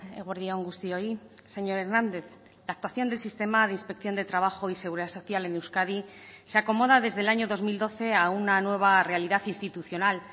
eguerdi on guztioi señor hernández la actuación del sistema de inspección de trabajo y seguridad social en euskadi se acomoda desde el año dos mil doce a una nueva realidad institucional